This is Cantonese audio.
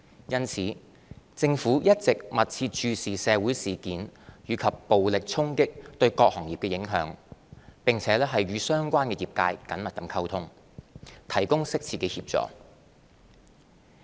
因此，政府一直密切注視社會事件及暴力衝擊對各行業的影響，並與相關業界緊密溝通，提供適切的協助。